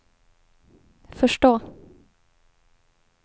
förstå